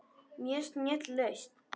Mjög snjöll lausn.